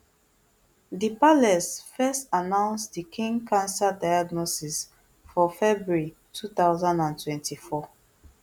di palace first announce di king cancer diagnosis for february two thousand and twenty-four